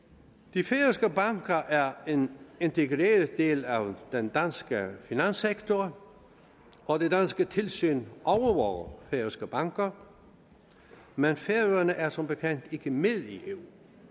de færøske banker er en integreret del af den danske finanssektor og det danske tilsyn overvåger færøske banker men færøerne er som bekendt ikke med i eu